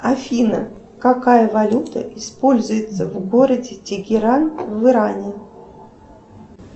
афина какая валюта используется в городе тегеран в иране